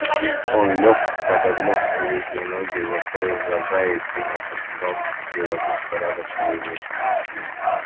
он лёг подогнуть передние ноги закрыл глаза и принялся с трудом приводить в порядок свои мысли